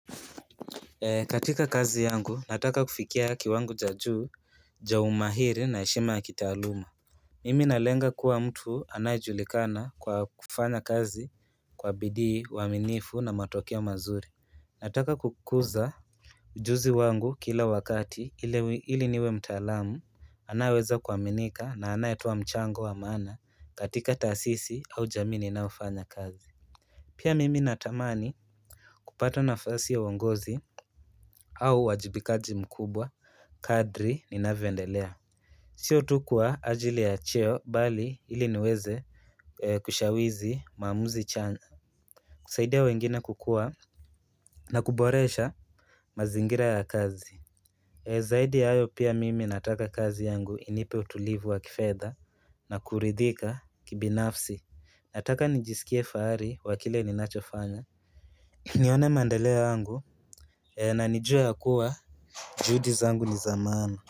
Katika kazi yangu nataka kufikia kiwango cha juu ya umahiri na heshima ya kitaaluma Mimi nalenga kuwa mtu anayejulikana kwa kufanya kazi kwa bidii uaminifu na matokeo mazuri Nataka kukuza ujuzi wangu kila wakati ili niwe mtaalamu anayeweza kuaminika na anayetoa mchango wa maana katika taasisi au jamii ninaofanya kazi Pia mimi natamani kupata nafasi ya uongozi au uwajibikaji mkubwa Kadri ninavyoendelea Sio tu kwa ajili ya cheo bali ili niweze Kushawizi maamuzi chanya kusaidia wengine kukua na kuboresha mazingira ya kazi Zaidi ya hayo pia mimi nataka kazi yangu inipe utulivu wa kifedha na kuridhika kibinafsi Nataka nijisikie fahari wa kile ninachofanya nione maendeleo yangu na nijue ya kuwa juhudi zangu ni za maana.